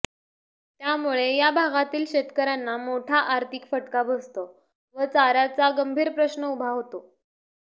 त्यामुळे या भागातील शेतकऱयांना मोठा आर्थिक फटका बसतो व चाऱयाचा गंभीर प्रश्न उभा होतो